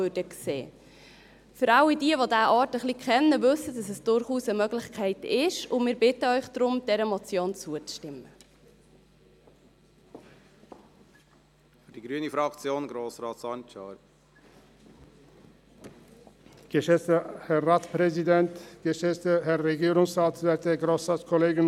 Alle diejenigen, die diesen Ort ein wenig kennen, wissen, dass es durchaus eine Möglichkeit ist, und wir bitten Sie daher, dieser Motion zuzustimmen.